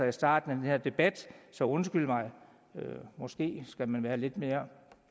i starten af den her debat så undskyld mig måske skal man være lidt mere